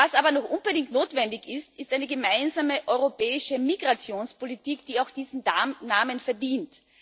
Was aber noch unbedingt notwendig ist, ist eine gemeinsame europäische Migrationspolitik, die auch diesen Namen verdient.